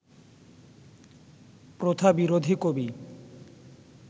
প্রথা বিরোধী কবি